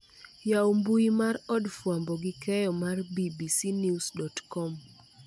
Yaw mbui mar od fwambo gi keyo mar b.b.c news. com